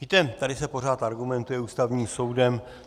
Víte, tady se pořád argumentuje Ústavním soudem.